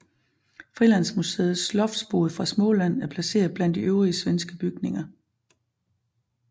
Frilandsmuseets Loftbod fra Småland er placeret blandt de øvrige svenske bygninger